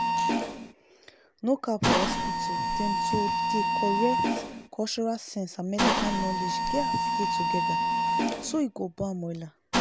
no cap for hospital dem to dey correctcultural sense and medical knowledge gats dey together so e go bam wella